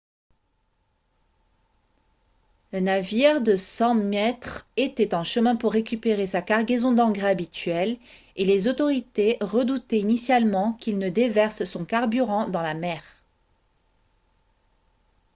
la navire de 100 mètres était en chemin pour récupérer sa cargaison d'engrais habituelle et les autorités redoutaient initialement qu'il ne déverse son carburant dans la mer